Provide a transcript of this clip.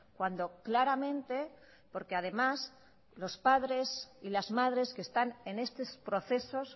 cuando claramente porque además los padres y las madres que están en estos procesos